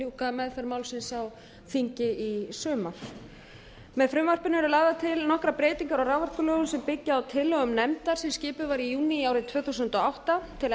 ljúka meðferð málsins á þingi í sumar með frumvarpinu eru lagðar til nokkrar breytingar á raforkulögum sem byggja á tillögum nefndar sem skipuð var í júní árið tvö þúsund og átta til